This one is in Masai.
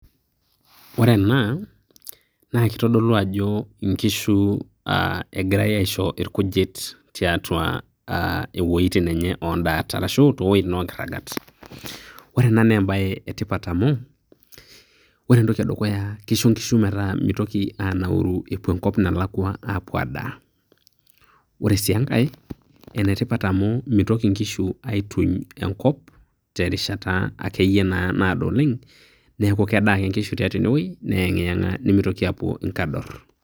Ore ena kitodolu ajo nkishu egirae aisho irkujit tiatua aa wuejitin enye oondaat arashu towuejitin enye onkirragat. Ore ena naa embae etipat amu ore entoki edukuya kisho nkishu metaa mitoki anauru apuo enkop nalakua apuo adaa. Ore sii enkae ene tipat amu mitoki nkishu aituny enkop terishata akeyie naa naado oleng', niaku kedaa ake nkishu tiatua ene wuei, neeng'iyeng'a mitoki apuo nkador.